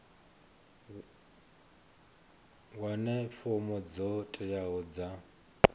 wane fomo dzo teaho dza